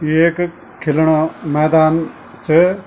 ये ऐक खिलणा मैदान च।